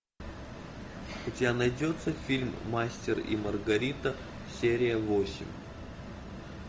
у тебя найдется фильм мастер и маргарита серия восемь